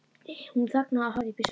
Hún þagnaði og horfði upp í sólina.